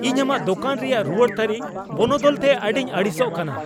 ᱤᱧ ᱟᱢᱟᱜ ᱫᱳᱠᱟᱱ ᱨᱮᱭᱟᱜ ᱨᱩᱣᱟᱹᱲ ᱛᱟᱹᱨᱤ ᱵᱚᱱᱚᱫᱚᱞ ᱛᱮ ᱟᱹᱰᱤᱧ ᱟᱹᱲᱤᱥᱚᱜ ᱟᱠᱟᱱᱟ ᱾